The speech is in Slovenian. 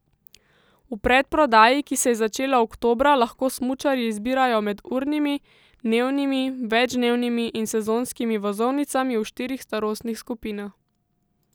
V predprodaji, ki se je začela oktobra lahko smučarji izbirajo med urnimi, dnevnimi, večdnevnimi in sezonskimi vozovnicami v štirih starostnih skupinah.